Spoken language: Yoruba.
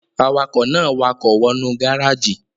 Awakọ̀ náà wakọ̀ wọ nú gáràjì